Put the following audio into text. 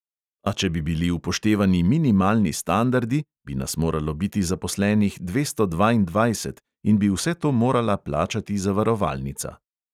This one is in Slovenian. A če bi bili upoštevani minimalni standardi, bi nas moralo biti zaposlenih dvesto dvaindvajset in bi vse to morala plačati zavarovalnica.